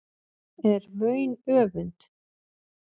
er vaun öfund